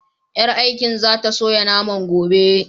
Ƴar aikin za ta soya naman gobe.